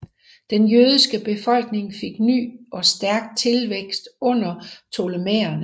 Denne jødiske befolkning fik ny og stærk tilvækst under Ptolemæerne